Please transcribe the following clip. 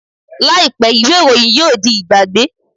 Làìpé, ìwé ìròyìn yóò di ìgbàgbé